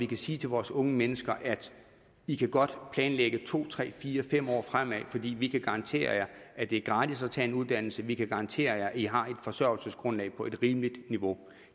kan sige til vores unge mennesker i kan godt planlægge to tre fire fem år fremad for vi vi kan garantere jer at det er gratis at tage en uddannelse vi kan garantere jer at i har et forsørgelsesgrundlag på rimeligt niveau